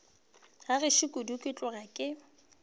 gešo kudu ke tloga ke